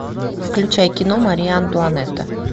включай кино мария антуанетта